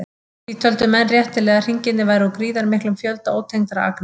Því töldu menn réttilega að hringirnir væru úr gríðarmiklum fjölda ótengdra agna.